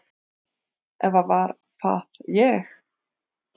Eða var það ég?